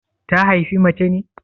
Ta haifi mace ne?